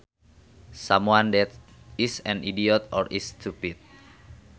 Someone that is an idiot or is stupid